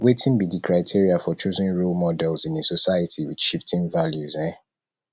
wetin be di criteria for choosing role models in a society with shifting values um